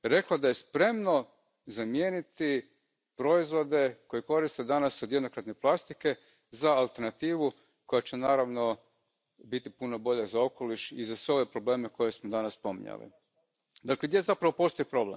British innovation. The Commission has at least gone through the motions of asking for a scientific study on this but, with the greatest respect to the rapporteur, Mr Demesmaeker, neither he nor his colleagues in the Committee on the Environment, Public Health and Food Safety are polymer scientists.